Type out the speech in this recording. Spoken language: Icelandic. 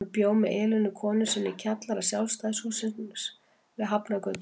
Hann bjó með Elínu konu sinni í kjallara Sjálfstæðishússins við Hafnargötu.